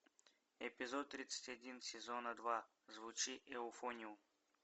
эпизод тридцать один сезона два звучи эуфониум